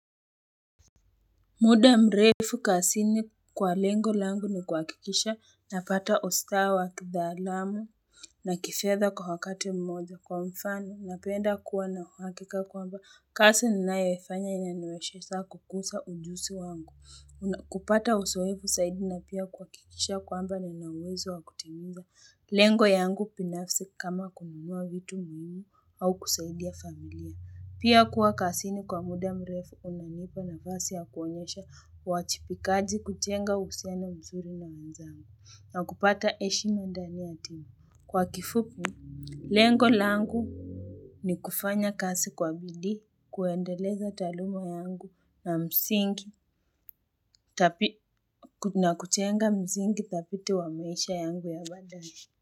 Muda mrefu kazini kwa lengo langu ni kuhakikisha, napata ustaa wakitaalamu na kifedha kwa wakati mmoja, kwa mfano, napenda kuwa na uhakika kwamba kazi ninayofanya inaniwezesha kukuza ujuzi wangu kupata uzoeevu zaidi, na pia kuhakikisha kwamba ninauwezo wa kutimiza lengo yangu binafsi, kama kununua vitu muhimu au kusaidia familia. Pia kuwa kazini kwa muda mrefu, unanipa nafasi ya kuonyesha uajibikaji, kujenga uhusiano mzuri na wenzangu, na kupata heshima ndani ya timu. Kwa kifupi, lengo langu ni kufanya kazi kwa bidii, kuendeleza taaluma yangu na msingi na kujenga msingi dhabiti wa maisha yangu ya baadaye.